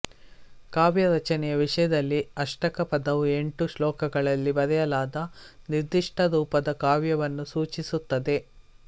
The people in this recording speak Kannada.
ಕಾವ್ಯ ರಚನೆಯ ವಿಷಯದಲ್ಲಿ ಅಷ್ಟಕ ಪದವು ಎಂಟು ಶ್ಲೋಕಗಳಲ್ಲಿ ಬರೆಯಲಾದ ನಿರ್ದಿಷ್ಟ ರೂಪದ ಕಾವ್ಯವನ್ನು ಸೂಚಿಸುತ್ತದೆ